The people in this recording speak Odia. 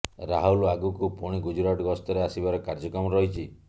ରାହୁଲ ଆଗକୁ ପୁଣି ଗୁଜୁରାଟ ଗସ୍ତରେ ଆସିବାର କାର୍ଯ୍ୟକ୍ରମ ରହିଛି